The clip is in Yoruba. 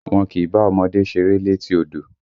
Wọ́n kìí bá ọmọdé ṣeré létí odò!